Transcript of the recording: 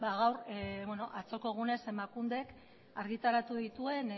dago atzoko egunean emakundek argitaratu dituen